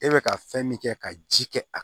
E bɛ ka fɛn min kɛ ka ji kɛ a